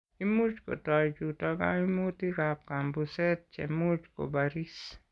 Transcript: Imuch kotoi chuto kaimutikab kambuset che much kobaris.